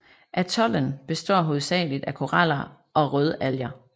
Atollen består hovedsageligt af koraler og rødalger